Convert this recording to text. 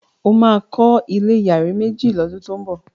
o ma kò ilé iyare méjì ló dun to ñbo!